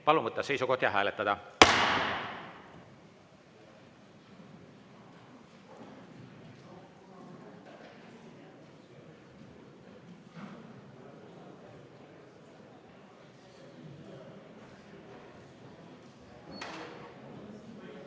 Palun võtta seisukoht ja hääletada!